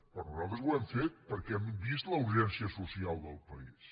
però nosaltres ho hem fet perquè hem vist la urgència social del país